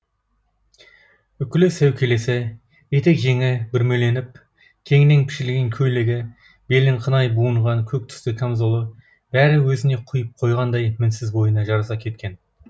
үкілі сәукелесі етек жеңі бүрмеленіп кеңінен пішілген көйлегі белін қынай буынған көк түсті камзолы бәрі өзіне құйып қойғандай мінсіз бойына жараса кеткен